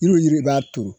Yiriw yiri b'a turu